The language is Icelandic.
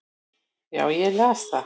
Já, ég las það